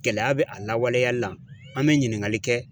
Gɛlɛya bɛ a lawaleyali la ,an be ɲininkali kɛ.